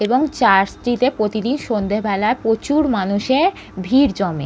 এবং চার্চ -টিতে প্রতিদিন সন্ধ্যেবেলায় প্রচুর মানুষের ভিড় জমে ।